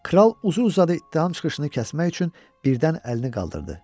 Kral uzun-uzadı danışılan çıxışını kəsmək üçün birdən əlini qaldırdı.